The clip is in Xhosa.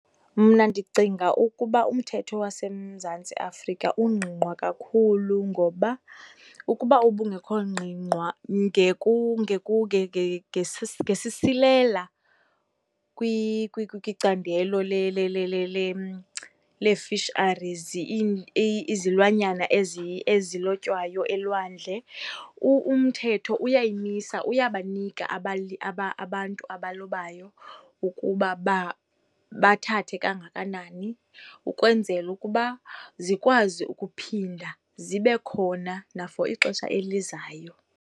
Mna ndicinga ukuba umthetho waseMzantsi Afrika ungqingqwa kakhulu ngoba ukuba ubungekho ngqingqwa ngesisilela kwicandelo lee-fisheries, izilwanyana ezilotywayo elwandle. Umthetho uyayimisa, uyabanika abantu abalobayo ukuba bathathe kangakanani, ukwenzela ukuba zikwazi ukuphinda zibe khona na for ixesha elizayo.